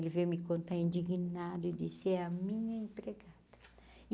Ele veio me contar indignado e disse, é a minha empregada.